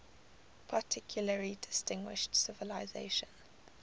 particularly distinguished civilization